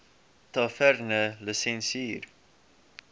tavernelisensier